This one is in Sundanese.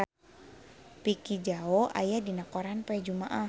Vicki Zao aya dina koran poe Jumaah